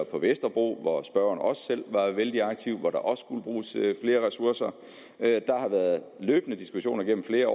på vesterbro hvor spørgeren også selv var vældig aktiv og skulle bruges flere ressourcer der har været løbende diskussioner gennem flere